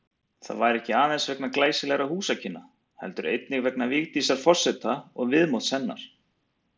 Það væri ekki aðeins vegna glæsilegra húsakynna, heldur einnig vegna Vigdísar forseta og viðmóts hennar.